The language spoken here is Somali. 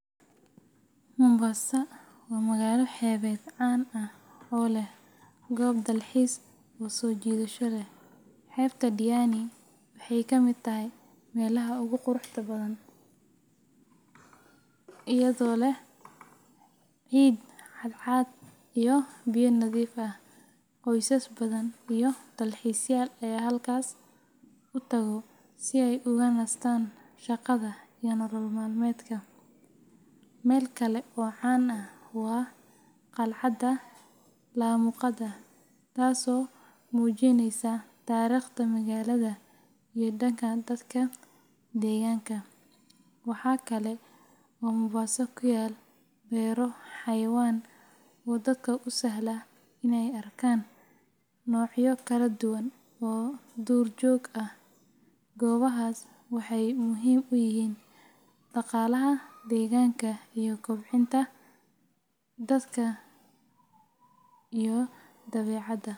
Mombasa waa magaalo xeebeed caan ah oo leh goobo dalxiis oo soo jiidasho leh. Xeebta Diani waxay ka mid tahay meelaha ugu quruxda badan, iyadoo leh ciid cadcad iyo biyo nadiif ah. Qoysas badan iyo dalxiisayaal ayaa halkaas u tago si ay uga nastaan shaqada iyo nolol maalmeedka. Meel kale oo caan ah waa Qalcadda Laamuqada, taasoo muujinaysa taariikhda magaalada iyo dhaqanka dadka deegaanka. Waxaa kale oo Mombasa ku yaal beero xayawaan oo dadka u sahla in ay arkaan noocyo kala duwan oo duur joog ah. Goobahaas waxay muhiim u yihiin dhaqaalaha deegaanka iyo kobcinta xiriirka dadka iyo dabeecadda.